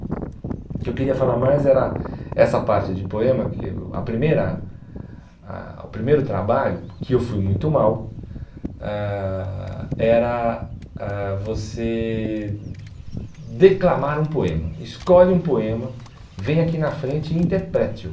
O que eu queria falar mais era essa parte de poema, que o a primeira ah o primeiro trabalho, que eu fui muito mal, ãh era ãh você declamar um poema, escolhe um poema, vem aqui na frente e interprete-o.